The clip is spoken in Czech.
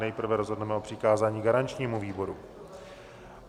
Nejprve rozhodneme o přikázání garančnímu výboru.